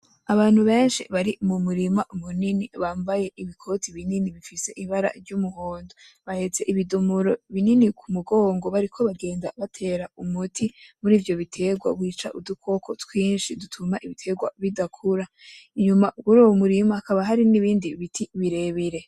Abantu benshi bari mu murima munini bambaye ibikoti binini bifise ibara ry'umuhondo bahetse ibidomoro binini k’umugongo bariko bagenda batera umuti murivyo bitegwa wica udukoko twinshi dutuma ibitegwa bidakura. Inyuma kuruwo murima hakaba hari n'ibindi biti birebire.